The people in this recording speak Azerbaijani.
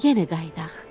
Yenə qayıdaq.